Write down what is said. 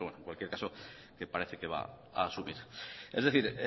pero en cualquier caso que parece que va a asumir es decir